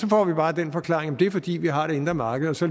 får vi bare den forklaring at det er fordi vi har det indre marked og så